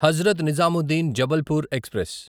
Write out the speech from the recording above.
Hazrat Nizamuddin Jabalpur express